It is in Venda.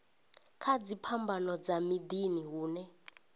kana dziphambano dza miḓini hune